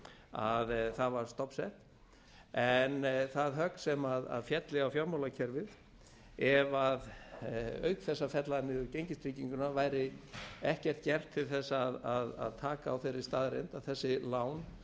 þegar það var stofnsett en það högg sem félli á fjármálakerfið ef auk þess að fella niður gengistrygginguna væri ekkert gert til þess að taka á þeirri staðreynd að þessi lán